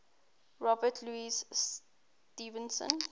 robert louis stevenson